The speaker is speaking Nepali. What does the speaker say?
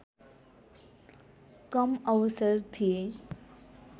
कम अवसर थिए